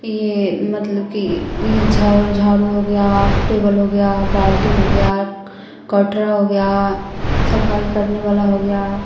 ये मतलब कि ये झा झारू हो गया टेबल हो गया बाल्टी हो गया कोटरा हो गया सफाई करने वाला हो गया।